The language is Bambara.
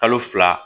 Kalo fila